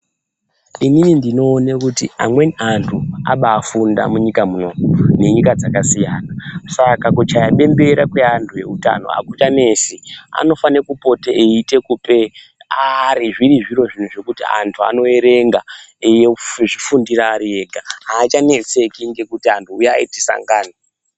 Inini ndinoone kuti amweni antu aba afunda munyika muno nenyika dzakasiyana saka kuchaya bembera kweantu ewutano akuchanesi anofanire kupote eite kupe arree zviri zviro zvekuti antu anoerenga eizvifundire ariega achanetseki nekuti anhu uyai tisangane.